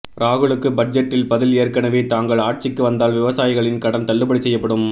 ராகுலுக்கு பட்ஜெட்டில் பதில்ஏற்கனவே தாங்கள் ஆட்சிக்கு வந்தால் விவசாயிகளின் கடன் தள்ளுபடி செய்யப்படும்